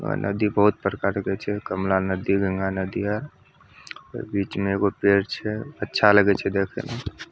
और नदी बहुत प्रकार के छै कमला नदी गंगा नदी हेय ओय बीच में एगो पेड़ छै अच्छा लगे छै देखे मे।